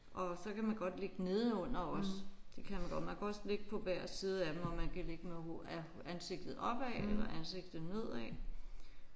Og så kan man godt ligge nedenunder også det kan man godt. Man kan også ligge på hver side af dem og man kan ligge med hovedet ansigtet opad eller ansigtet nedad